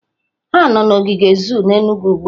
Ha nọ n'ogige zoo n'Enugwu ugbua.